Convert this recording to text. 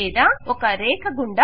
లేదా ఒక రేఖ గుండా